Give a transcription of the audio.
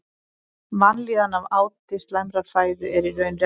Vanlíðan af áti slæmrar fæðu er í raun refsing.